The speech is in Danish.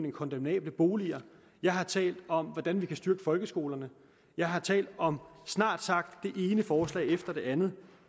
af kondemnable boliger jeg har talt om hvordan vi kan styrke folkeskolerne jeg har talt om snart sagt det ene forslag efter det andet